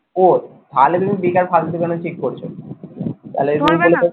ও তাহলে তুমি বেকার ফালতু কেনো check করছো?